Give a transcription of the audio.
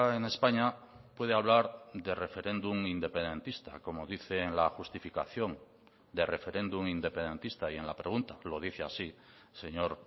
en españa puede hablar de referéndum independentista como dice en la justificación de referéndum independentista y en la pregunta lo dice así señor